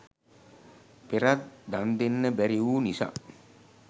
පෙරත් දන් දෙන්න බැරි වූ නිසා